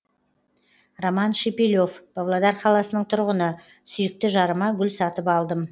роман шепелев павлодар қаласының тұрғыны сүйікті жарыма гүл сатып алдым